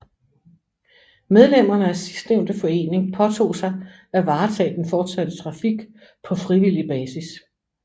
Medlemmerne af sidstnævnte forening påtog sig at varetage den fortsatte trafik på frivillig basis